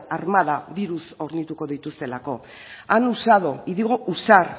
armada diruz hornituko dituztelako han usado y digo usar